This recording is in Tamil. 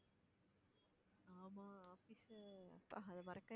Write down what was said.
ஆமா office ல அப்பா அதை மறக்கவே